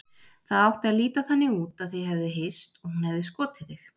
Það átti að líta þannig út að þið hefðuð hist og hún hefði skotið þig.